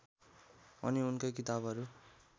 अनि उनको किताबहरू